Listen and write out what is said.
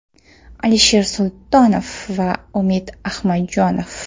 Alisher Sultonov va Umid Ahmadjonov.